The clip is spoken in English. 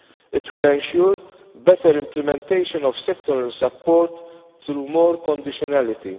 It will ensure better implementation of sectoral support through more conditionality.